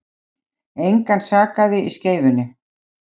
Engan sakaði í Skeifunni